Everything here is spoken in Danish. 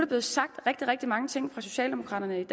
blevet sagt rigtig rigtig mange ting fra socialdemokraternes